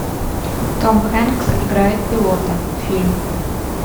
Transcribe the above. том хэнкс играет пилота фильм